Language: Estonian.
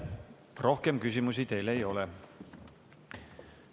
Rohkem küsimusi teile ei ole.